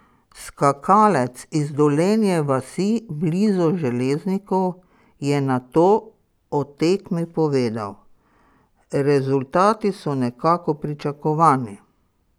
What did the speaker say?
Skakalec iz Dolenje vasi blizu Železnikov je nato o tekmi povedal: "Rezultati so nekako pričakovani.